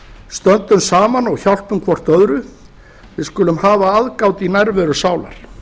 stöndum saman og hjálpum hvert öðru við skulum hafa aðgát í nærveru sálar